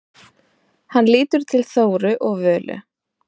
Hann lítur til Þóru og Völu.